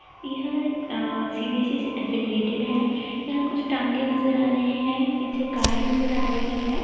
यह अ सी.बी.एस.ई से एफिलिएटेड है। यहाँ कुछ टाँगे नज़र आ रहे हैं पीछे कार नज़र आ रही है।